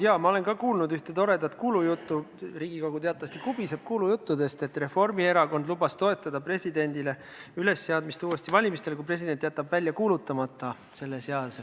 Jaa, ma olen ka kuulnud ühte toredat kuulujuttu – Riigikogu teatavasti kubiseb kuulujuttudest –, et Reformierakond lubas toetada presidendi ülesseadmist uutel valimistel, kui president jätab selle seaduse välja kuulutamata.